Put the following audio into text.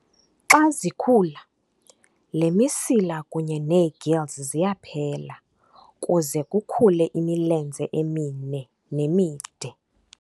Xa zikhula, le misila kunye neegills ziyaphela kuze kukhule imilenze emine nemide.